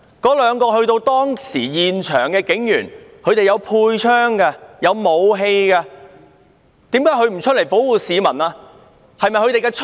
當時兩名身處現場的警員，有佩槍和武器，為何他們不上前保護市民？